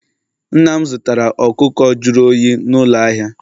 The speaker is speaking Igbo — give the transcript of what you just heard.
Nna m zụtara ọkụkọ jụrụ oyi n'ụlọ ahịa